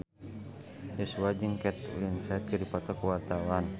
Joshua jeung Kate Winslet keur dipoto ku wartawan